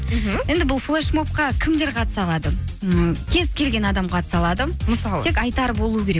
мхм енді бұл флешмобқа кімдер қатыса алады ы кез келген адам қатыса алады мысалы тек айтары болу керек